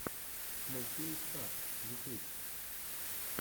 мультфильм стакс ютуб